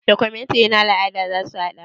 Documentary na al'ada zaku haɗa?